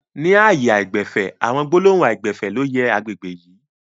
Ni ààyè aìgbẹ̀fẹ̀, àwọn gbólóhùn aìgbẹ̀fẹ̀ ló yẹ àgbègbè yìí